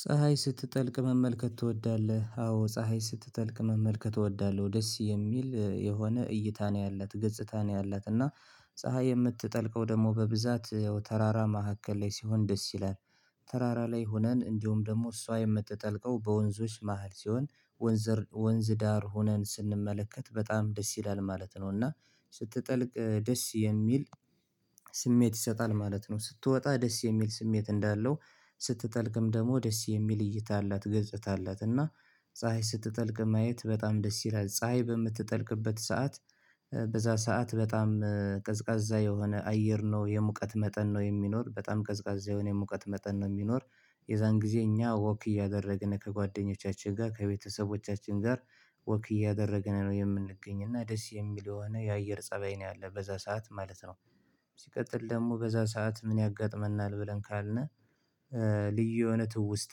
ፀሀይ ስትጠልቅ መመልከት ትወዳለህ? አዎ ፀሀይ ስትጠልቅ መመልከት ትወዳለሁ ደስ የሚል የሆነ እይታ ነው ያላት ገጽታ ነው ያላት እና ፀሀይ የምትጠልቀው ደግሞ በብዛት ተራራ መካከል ላይ ሲሆን ደስ ይላል። ተራራ ላይ ሆነን እንዲሁም ደግሞ እሷ የምትጠልቀው በወንዞች መሃል ሲሆን ወንዝ ዳር ሆነን ስንመለከት በጣም ደስ ይላል ማለት ነው። እና ስትጠልቅ ደስ የሚል ስሜት ይሰጣል ማለት ነው። ስትወጣ ደስ የሚል ስሜት እንዳለው ስትጠልቅም ደግሞ ደስ የሚል እይታ አላት ገጽታ አላት እና። ፀሀይ ስትጠልቅ ማየት በጣም ደስ ይላል ፀሀይ በምትጠልቅበት ሰዓት በዛ ሰዓት በጣም ቀዝቃዛ የሆነ አየር ነው የሙቀት መጠን ነው የሚኖር በጣም ቀዝቃዛ የሆነ ሙቀት መጠን ነው የሚኖር። የዛን ጊዜ እኛ ወክ እያደረግን ከጓደኞቻችን ጋር ከቤተሰቦቻችን ጋር ወክ እያደረግን ነው የምንገኝ እና ደስ የሚል የሆነ የአየር ፀባይ ነው ያለው በዛ ሰዓት ማለት ነው። ሲቀጥል ደግሞ በዛ ሰዓት ምን ያጋጥመናል ብለን ካልን ልዩ የሆነ ትውስታ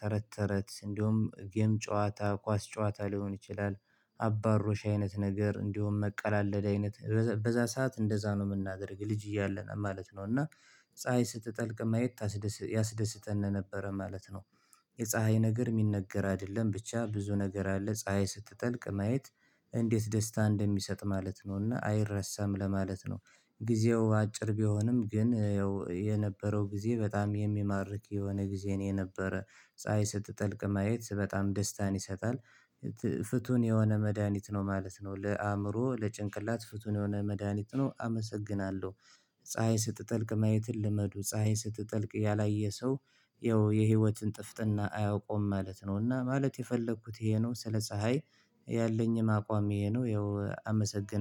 ተረት ተረት እንዲሁም ጌም ጨዋታ ኳስ ጨዋታ ሊሆን ይችላል። አባ ሮሽ አይነት ነገር እንዲሁም መቀላለድ አይነት በዛ ሰዓት እንደዛ ነው የምናደርግ ልጅ እያለ ነው ማለት ነው። እና ፀሀይ ስትጠልቅ ማየት ያስደስተን ነበረ ማለት ነው። የፀሀይ ነገር የሚነገር አይደለም ብቻ ብዙ ነገር አለ ፀሀይ ስትጠልቅ ማየት እንዴት ደስታ እንደሚሰጥ ማለት ነውና አይረሳም ለማለት ነው። ጊዜው አጭር ቢሆንም ግን ያው የነበረው ጊዜ በጣም የሚማርክ የሆነ ጊዜ የነበረ ፀሀይ ስትጠልቅ ማየት በጣም ደስታን ይሰጣል። ፍቱን የሆነ መድሃኒት ነው ማለት ነው ለአእምሮ ለጭንቅላት ፍቱን የሆነ መድሃኒት ነው አመሰግናለሁ። ፀሀይ ስትጠልቅ ማየትን ልመዱ ፀሀይን ስትጠልቅ ያላየ ሰው ያው የህይወትን ጥፍጥና አያውቀውም ማለት ነው። እና ማለት የፈለኩት ይሄ ነው ስለ ፀሀይ ያለኝም አቋም ይሄ ነው ያው አመሰግናለሁ